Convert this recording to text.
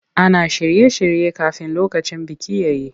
Ana shirye-shirye kafin lokacin biki ya yi.